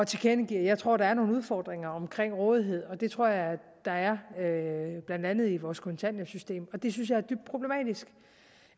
tilkendegive at jeg tror der er nogle udfordringer omkring rådighed og det tror jeg der er blandt andet i vores kontanthjælpssystem det synes jeg